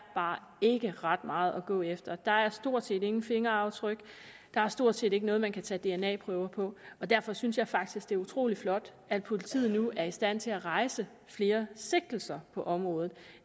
bare ikke ret meget at gå efter der er stort set ingen fingeraftryk der er stort set ikke noget man kan tage dna prøver på og derfor synes jeg faktisk det er utrolig flot at politiet nu er i stand til at rejse flere sigtelser på området